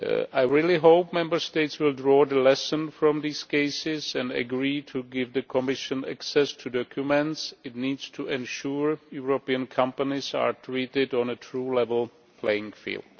I really hope Member States will draw the lesson from these cases and agree to give the Commission access to the documents it needs to ensure European companies are treated on a true level playing field.